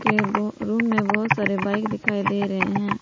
Room में बहुत सारे बाइक दिखाई दे रहे हैं।